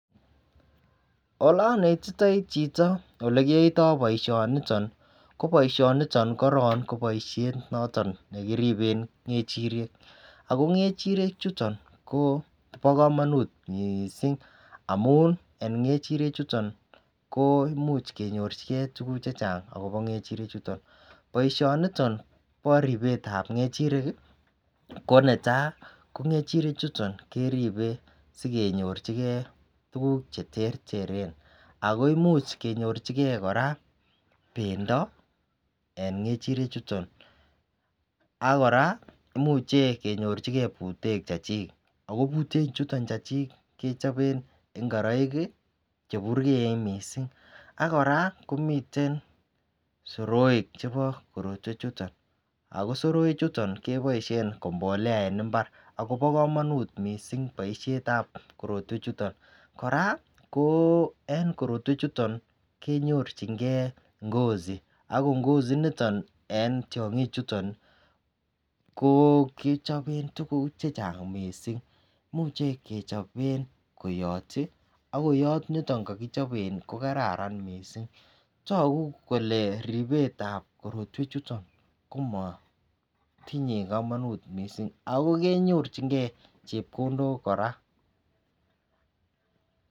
Ole onetitoi chito olekiyoito boishoni niton ko boishoniton koron ko boishet nekiribe ngechirek, ako ngechirek chuton Kobo komonut missing amun en ngechirek chuton ko imuch kenyorchigee tukuk chechang akobo ngechirek chuton. Boishoniton bo ribetab ngechirek kii ko netai ko ngechirek chuton keribe sikenyorchigee tukuk cheterteren ako imuch kenyorchigee Koraa pendo en ngechiret chuton ak Koraa imuche kenyorchigee butek Chechik ak butet chuton chu chik kechoben ingoroik kii cheburgeen missing. AK Koraa komiten soroik chebo korotwek chuton ako soroik chuton keboishen ko mbolea en imbar akobo komonut missing boishetab korotwek chuton. Koraa ko en korotwek chuton kenyorchigee ngozi ak ngozi niton en tyonkik chuton ko kichobe tukuk che chang missing imuche kechopen koyot tii ak koyot niton kokichoben nii ko kararan missing. Toku kole ribetab korotwek chuton komotinye komonut missing ako kenyorchigee chepkondok Koraa.